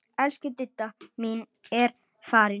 Elsku Didda mín er farin.